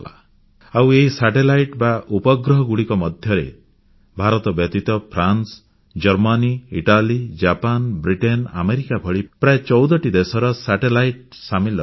ଆଉ ଏହି ଉପଗ୍ରହଗୁଡ଼ିକ ମଧ୍ୟରେ ଭାରତ ବ୍ୟତୀତ France Germany Italy Japan Britain America ଭଳି ପ୍ରାୟ 14ଟି ଦେଶର ସାଟେଲାଇଟ୍ ସାମିଲ ଅଛି